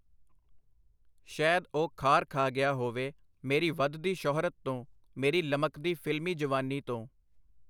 ਸ਼ੈਦ ਉਹ ਖਾਰ ਖਾ ਗਿਆ ਹੋਵੇ ਮੇਰੀ ਵਧਦੀ ਸ਼ੁਹਰਤ ਤੋਂ, ਮੇਰੀ ਲਮਕਦੀ ਫਿਲਮੀ ਜਵਾਨੀ ਤੋਂ.